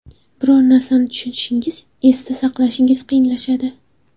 Biror narsani tushunishingiz, esda saqlashingiz qiyinlashadi.